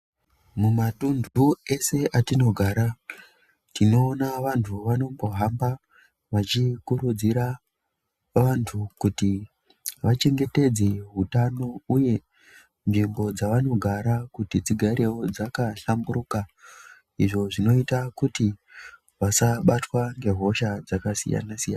Mumatunhu ese atinogara tinoona vantu vanombohamba vachikurudzira vantu kuti vachengetedze utanho uye nsvimbo dzavanogara kuti dzigare dzakahlamburuka izvo zvinoita kuti vasabatwa ngehosha dzakasiyana siyana.